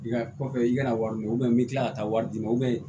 I ka kɔfɛ i ka wari dun i bɛ kila ka taa wari d'i ma